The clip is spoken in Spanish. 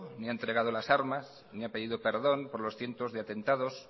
ni ha entregado las armas ni ha pedido perdón por los cientos de atentados